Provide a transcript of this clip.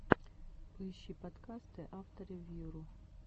поищи подкасты авторевьюру